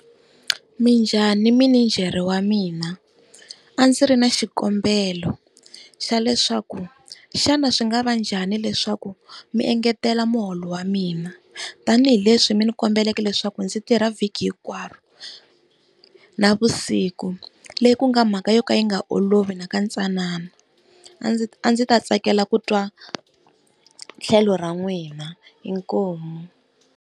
Minjhani minijhere wa mina, a ndzi ri na xikombelo xa leswaku xana swi nga va njhani leswaku mi engetela muholo wa mina, tanihileswi mi ni kombeleka leswaku ndzi tirha vhiki hinkwaro na vusiku. Leyi ku nga mhaka yo ka yi nga olovi na ka ntsanana. A ndzi a ndzi ta tsakela ku twa tlhelo ra n'wina inkomu.